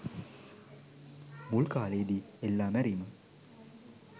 මුල් කාලේදී එල්ලා මැරීම